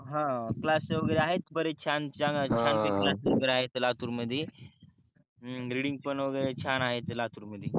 हम्म क्लासेस वगेरे आहे बरेच छान छान पैकी क्लास वगेरे आहे लातूर मधी रिडींग पन वगेरे छान आहे इथे लातूर मधी